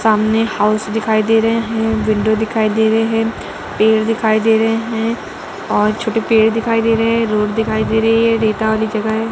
सामने हाउस दिखाई दे रहे हैंविंडो दिखाई दे रहे हैंपेड़ दिखयी दे रहे हैं और छोटे पेड़ दिखाई दे हैंरोड दिखाई दे रही है रेता वाली जगह है।